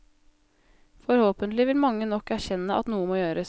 Forhåpentlig vil mange nok erkjenne at noe må gjøres.